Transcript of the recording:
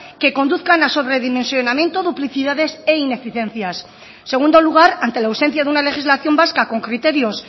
que conduzcan a sobredimensionamiento duplicidades e ineficiencias en segundo lugar ante la ausencia de una legislación vasca con criterios